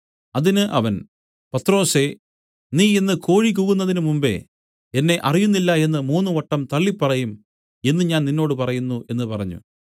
അതിന് അവൻ പത്രൊസേ നീ ഇന്ന് കോഴി കൂകുന്നതിനു മുമ്പെ എന്നെ അറിയുന്നില്ല എന്നു മൂന്നുവട്ടം തള്ളിപ്പറയും എന്നു ഞാൻ നിന്നോട് പറയുന്നു എന്നു പറഞ്ഞു